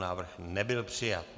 Návrh nebyl přijat.